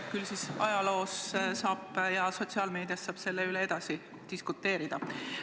Küll ajaloo jooksul ja sotsiaalmeedias saab selle üle edasi diskuteerida.